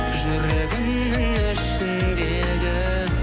жүрегімнің ішіндегі